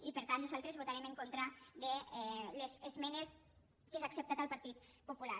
i per tant nosaltres votarem en contra de les esmenes que s’han acceptat al partit popular